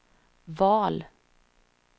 val